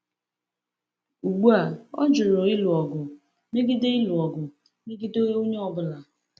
Ugbu a, ọ jụrụ ịlụ ọgụ megide ịlụ ọgụ megide onye ọ bụla.